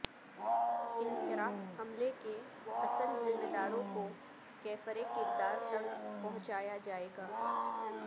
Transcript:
Ankara حملے کے اصل ذمہ داروں کو کیفر کردار تک پہنچایا جائیگا